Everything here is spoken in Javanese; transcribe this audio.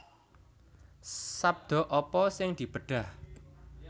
Sabda apa sing dibedhah